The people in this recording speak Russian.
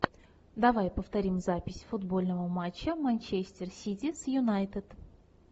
давай повторим запись футбольного матча манчестер сити с юнайтед